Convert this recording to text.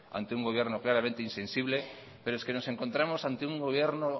ante un gobierno claramente insensible pero es que nos encontramos ante un gobierno